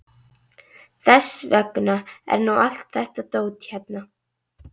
Þess vegna er nú allt þetta dót hérna.